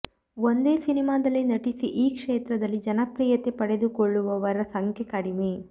ಒಂದೇ ಸಿನಿಮಾದಲ್ಲಿ ನಟಿಸಿ ಈ ಕ್ಷೇತ್ರದಲ್ಲಿ ಜನಪ್ರಿಯತೆ ಪಡೆದುಕೊಳ್ಳುವವರ ಸಂಖ್ಯೆ ಕಡಿಮೆ